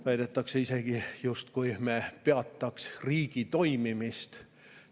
Väidetakse isegi, justkui me oleksime peatanud riigi toimimise.